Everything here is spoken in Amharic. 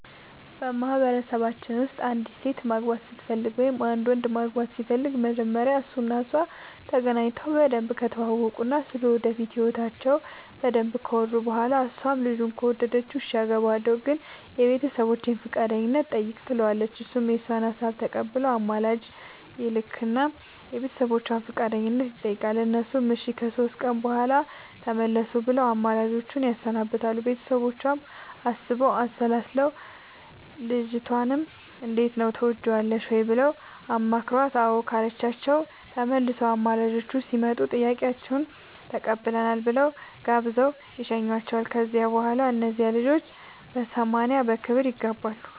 በማህበረሰባችን ውስጥ አንዲት ሴት ማግባት ስትፈልግ ወይም አንድ ወንድ ማግባት ሲፈልግ መጀመሪያ እሱ እና እሷ ተገናኝተው በደንብ ከተዋወቁ እና ስለ ወደፊት ህይወታቸው በደንብ ካወሩ በኋላ እሷም ልጁን ከወደደችው እሽ አገባሀለሁ ግን የቤተሰቦቼን ፈቃደኝነት ጠይቅ ትለዋለች እሱም የእሷን ሀሳብ ተቀብሎ አማላጅ ይልክ እና የቤተሰቦቿን ፈቃደኝነት ይጠይቃል እነሱም እሺ ከሶስት ቀን በኋላ ተመለሱ ብለው አማላጆቹን ያሰናብታሉ ቤተሰቦቿም አስበው አሠላስለው ልጅቷንም እንዴት ነው ትወጅዋለሽ ወይ ብለው አማክረዋት አዎ ካለቻቸው ተመልሰው አማላጆቹ ሲመጡ ጥያቄያችሁን ተቀብለናል ብለው ጋብዘው ይሸኙዋቸዋል ከዚያ በኋላ እነዚያ ልጆች በሰማንያ በክብር ይጋባሉ።